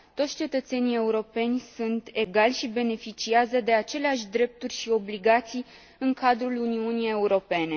Toți cetățenii europeni sunt egali și beneficiază de aceleași drepturi și obligații în cadrul Uniunii Europene.